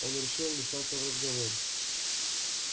он решил вмешаться в разговор